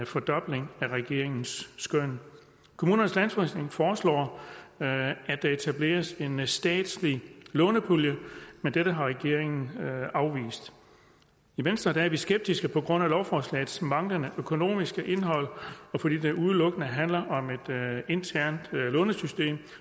fordobling af regeringens skøn kommunernes landsforening foreslår at der etableres en statslig lånepulje men dette har regeringen afvist i venstre er vi skeptiske på grund af lovforslagets manglende økonomiske indhold og fordi det udelukkende handler om et internt lånesystem